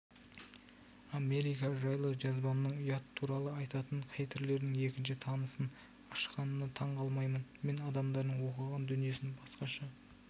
америка жайлы жазбамның ұят туралы айтатын хейтерлердің екінші тынысын ашқанына таңғалмаймын мен адамдардың оқыған дүниесін басқаша